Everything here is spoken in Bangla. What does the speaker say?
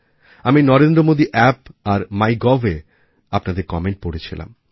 আমি NarendraModiApp আর MyGovএ আপনাদের কমেন্ট পড়ছিলাম